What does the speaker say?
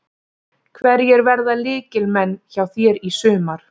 Hverjir verða lykilmenn hjá þér í sumar?